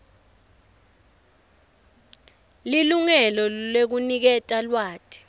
lilungelo lekuniketa lwati